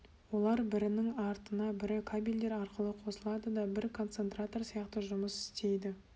олар бірінің артына бірі кабельдер арқылы қосылады да бір концентратор сияқты жұмыс істейді